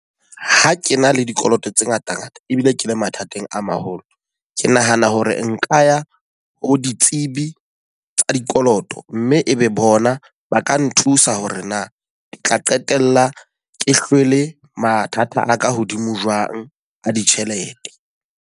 Ha ke na le dikoloto tse ngata ngata ebile ke le mathateng a maholo. Ke nahana hore nka ya ho ditsebi tsa dikoloto, mme e be bona ba ka nthusa hore na tla qetella ke hlwele mathata a ka hodimo jwang a ditjhelete.